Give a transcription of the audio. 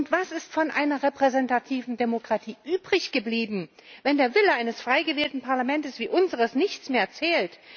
Was ist von einer repräsentativen Demokratie übrig geblieben, wenn der Wille eines frei gewählten Parlaments wie unseres nichts mehr zählt?